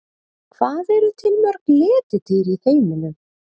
Hvað eru til mörg letidýr í heiminum?